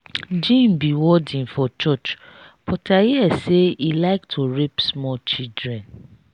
jim be warden for church but i hear say he like to rape small children.